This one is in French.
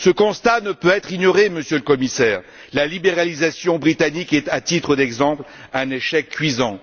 Ce constat ne peut être ignoré, Monsieur le Commissaire. La libéralisation britannique est, à titre d'exemple, un échec cuisant.